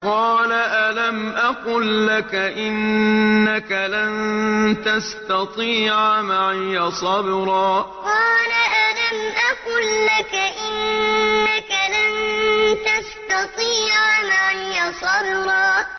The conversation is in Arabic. ۞ قَالَ أَلَمْ أَقُل لَّكَ إِنَّكَ لَن تَسْتَطِيعَ مَعِيَ صَبْرًا ۞ قَالَ أَلَمْ أَقُل لَّكَ إِنَّكَ لَن تَسْتَطِيعَ مَعِيَ صَبْرًا